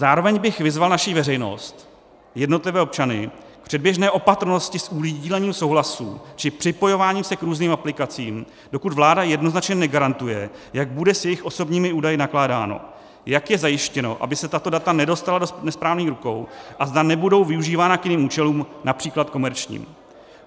Zároveň bych vyzval naši veřejnost, jednotlivé občany, k předběžné opatrnosti s udílením souhlasů či připojováním se k různým aplikacím, dokud vláda jednoznačně negarantuje, jak bude s jejich osobními údaji nakládáno, jak je zajištěno, aby se tato data nedostala do nesprávných rukou, a zda nebudou využívána k jiným účelům, například komerčním.